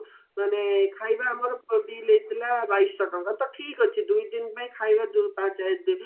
ମାନେ ଖାଇବା ଆମର bill ହେଇଥିଲା ବାଇଶଟଙ୍କା ତ ଠିକ ଅଛି ଦୁଇ ପାଇଁ ଖାଇବା